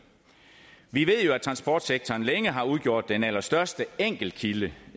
vi ved jo at transportsektoren længe har udgjort den allerstørste enkeltkilde